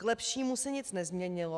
K lepšímu se nic nezměnilo.